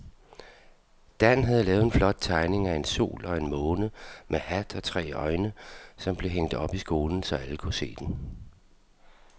Dan havde lavet en flot tegning af en sol og en måne med hat og tre øjne, som blev hængt op i skolen, så alle kunne se den.